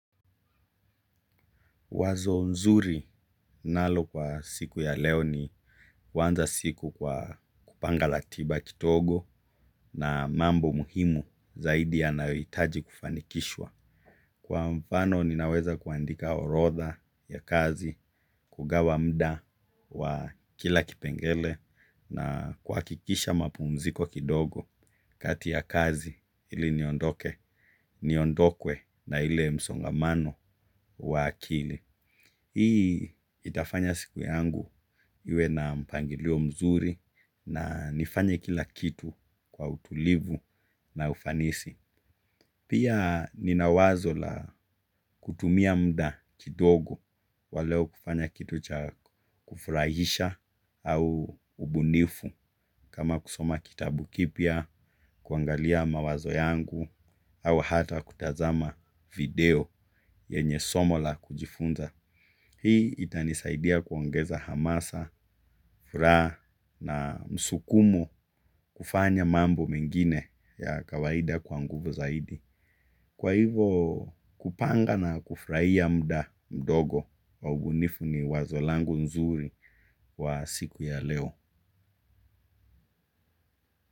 Wazo nzuri ninalo kwa siku ya leo ni kuanza siku kwa kupanga ratiba kidogo na mambo muhimu zaidi yanayohitaji kufanikishwa. Kwa mfano ninaweza kuandika orodha ya kazi, kugawa muda wa kila kipengelee na kuhakikisha mapumziko kidogo kati ya kazi ili niondoke, niondokwe na ile msongamano wa akili. Hii itafanya siku yangu iwe na mpangilio mzuri na nifanye kila kitu kwa utulivu na ufanisi. Pia nina wazo la kutumia muda kidogo wa leo kufanya kitu cha kufurahisha au ubunifu kama kusoma kitabu kipya, kuangalia mawazo yangu au hata kutazama video yenye somo la kujifunza. Hii itanisaidia kuongeza hamasa, furaha na msukumo kufanya mambo mengine ya kawaida kwa nguvu zaidi. Kwa hivo kupanga na kufurahia muda mdogo wa ubunifu ni wazo langu nzuri wa siku ya leo.